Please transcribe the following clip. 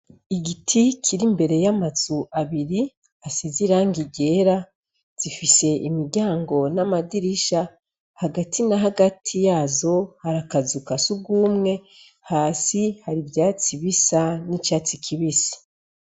Igiti kiri imbere y'amazu abiri asize irangi ryera zifise imiryango n'amadirisha hagati na hagati yazo hari akazu ka sugumwe hasi hari ivyatsi bisa nk'icatsi kibisi.